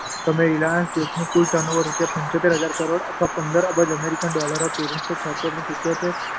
સમયે રીલાયન્સ જૂથનું કુલ ટર્ન ઓવર રૂપિયા પંચોતેર હજાર કરોડ અથવા પંદર અબજ અમેરિકી ડોલર હતું. ઓગણીસો છોંતેર સિત્યોતેર